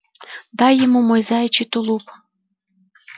дай ему мой заячий тулуп